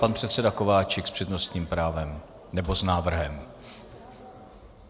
Pan předseda Kováčik s přednostním právem, nebo s návrhem.